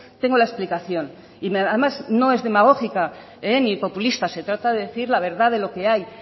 tengo la explicación y además no es demagógica ni populista se trata de decir la verdad de lo que hay